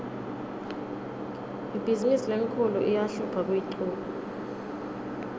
ibhizimisi lenkhulu iyahlupha kuyichuba